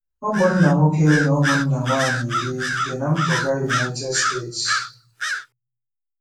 Ụmụnna nwoke na ụmụnna nwaanyị iri bi ná mpụga United States.